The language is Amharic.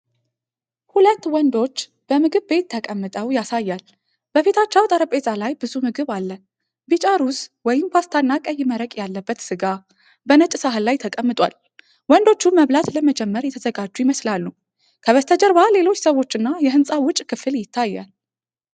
ሁለት ወንዶች በምግብ ቤት ተቀምጠው ያሳያል። በፊታቸው ጠረጴዛ ላይ ብዙ ምግብ አለ፤ ቢጫ ሩዝ ወይም ፓስታና ቀይ መረቅ ያለበት ሥጋ በነጭ ሳህን ላይ ተቀምጧል። ወንዶቹ መብላት ለመጀመር የተዘጋጁ ይመስላሉ። ከበስተጀርባ ሌሎች ሰዎችና የሕንፃው ውጭ ክፍል ይታያል።